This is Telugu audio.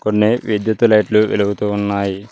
కొన్ని విద్యుత్ లైట్లు వెలుగుతూ ఉన్నాయి.